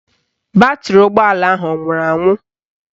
Batrị ụgbọala ahụ anwụrụ anwụ?